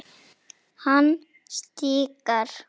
Hann stikar.